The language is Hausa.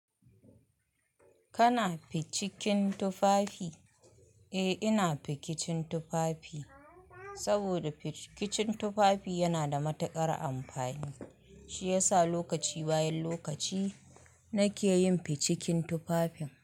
Kana ficikin tufafi? Eh ina fikicin tufafi, saboda fikicin tufafi yana da matuƙar amfani. Shi yasa lokaci bayan lokaci nake yin ficikin tufafin.